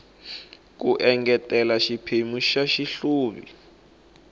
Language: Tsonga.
ku engetela xiphemu xa xihluvi